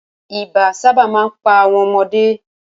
Ibà sábà máa ń pa àwọn ọmọdé